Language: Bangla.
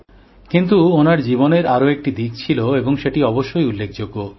কিন্তু ওঁর জীবনের আরও একটি দিক ছিল এবং সেটি অবশ্যই উল্লেখযোগ্য